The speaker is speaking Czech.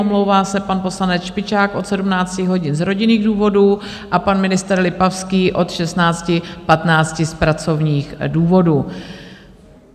Omlouvá se pan poslanec Špičák od 17 hodin z rodinných důvodů a pan ministr Lipavský od 16.15 z pracovních důvodů.